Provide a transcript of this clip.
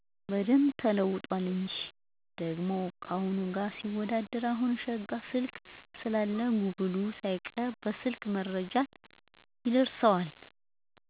በደንብ ተለውጧል እንጂ። ደሞ ታሁኑ ጋር ሊወዳደር አሁን ሸጋ ስልክ ስላለ ጉብሉ ሳይቀር በሰልክ መረጃ ይደርሠዋል።